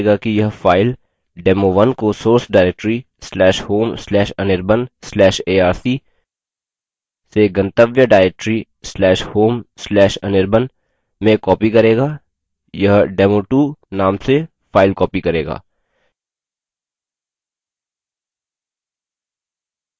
यह क्या करेगा कि यह फाइल demo1 को source directory/home/anirban/arc/से गंतव्य directory/home/anirban में copy करेगा यह demo2 name से फाइल copy करेगा